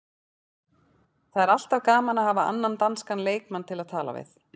Það er alltaf gaman að hafa annan danskan leikmann til að tala við.